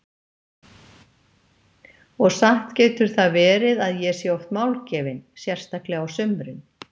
Og satt getur það verið að ég sé oft málgefin, sérstaklega á sumrin.